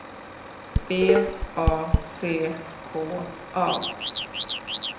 B A C K A